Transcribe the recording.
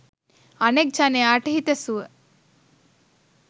අනෙක් ජනයාට හිතසුව